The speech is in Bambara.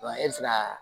Wa e bɛ se ka